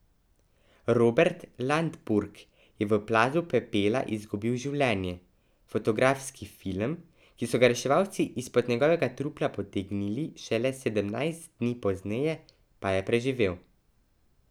Robert Landburg je v plazu pepela izgubil življenje, fotografski film, ki so ga reševalci izpod njegovega trupla potegnili šele sedemnajst dni pozneje, pa je preživel.